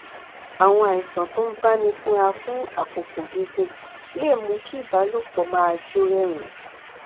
àwọn àìsàn tó ń báni fínra fún àkókò gígùn lè mú kí ìbálòpọ máa jó rẹyìn